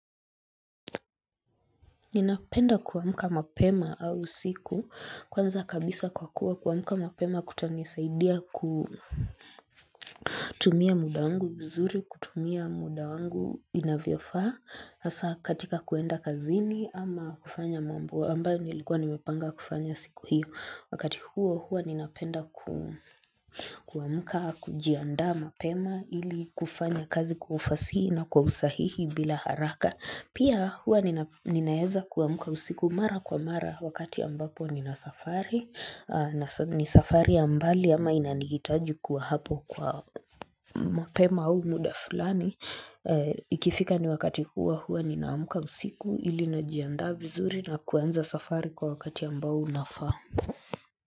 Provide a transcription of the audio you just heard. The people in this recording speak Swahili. Ninapenda kuamka mapema au usiku kwanza kabisa kwa kuwa kuamka mapema kutanisaidia kutumia muda wangu vizuri, kutumia muda wangu inavyofaa, hasa katika kuenda kazini ama kufanya mambo ambayo nilikuwa nimepanga kufanya siku hiyo. Wakati huo huo ninapenda kuamka kujiandaa mapema ili kufanya kazi kwa ufasihi na kwa usahihi bila haraka. Pia huwa ninaeza kuamka usiku mara kwa mara wakati ambapo nina safari. Ni safari ya mbali ama inanihitaji kuwa hapo kwa mapema au muda fulani. Ikifika ni wakati huo huo ninaamka usiku ili najiandaa biyzuri na kuanza safari kwa wakati ambao unafaa.